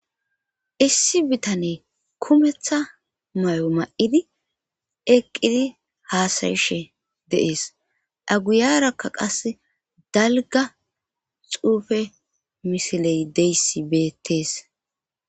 issi bitane kumetha may7o ma7idi eqqidi haasayishe deees aguyarakka qase dalga xuufe misiley deyssi beettes